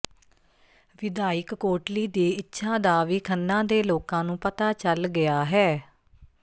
ਵਿਧਾਇਕ ਕੋਟਲੀ ਦੀ ਇੱਛਾ ਦਾ ਵੀ ਖੰਨਾ ਦੇ ਲੋਕਾਂ ਨੂੰ ਪਤਾ ਚੱਲ ਗਿਆ ਹੈ